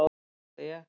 Já, sagði ég.